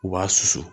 U b'a susu